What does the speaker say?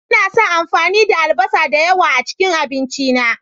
Ina son amfani da albasa da yawa a cikin abinci na.